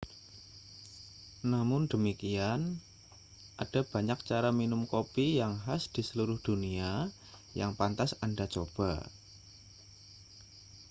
namun demikian ada banyak cara minum kopi yang khas di seluruh dunia yang pantas anda coba